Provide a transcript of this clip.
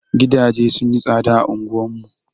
Gidaje sun yi tsaɗa a anguwar mu.